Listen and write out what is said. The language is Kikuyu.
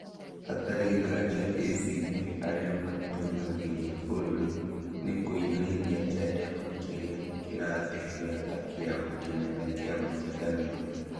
Hatarĩ nganja ACT arĩa matũgagĩria bũrũri nĩĩkũinainia Chadema kĩrĩa kĩrathegea ta kĩama kĩnene kĩa mũng'ethanĩro